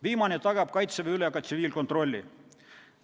Viimane tagab Kaitseväe üle ka tsiviilkontrolli.